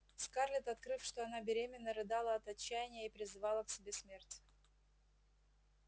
скарлетт открыв что она беременна рыдала от отчаяния и призывала к себе смерть